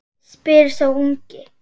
spyr sá ungi.